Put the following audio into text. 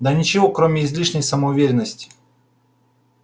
да ничего кроме излишней самоуверенности